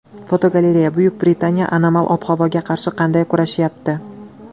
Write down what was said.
Fotogalereya: Buyuk Britaniya anomal ob-havoga qarshi qanday kurashyapti?.